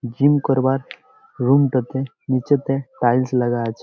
Gym করবার room টোতে নিচেতে টাইলস লাগা আছে।